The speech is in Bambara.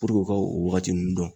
Puruke o ka o waagati uinnu dɔn.